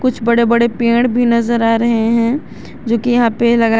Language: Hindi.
कुछ बड़े बड़े पेड़ भी नजर आ रहे हैं जो कि यहां पे लगा--